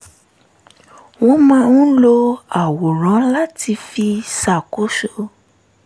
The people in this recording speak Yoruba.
wọ́n máa ń lo àwòrán láti fi ṣàkóso